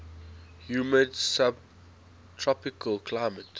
humid subtropical climate